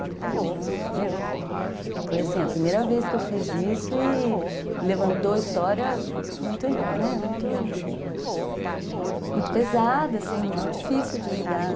E, tipo, eu, foi assim, a primeira vez que eu fiz isso e levantou a história muito, né, muito pesada, assim, muito difícil de lidar.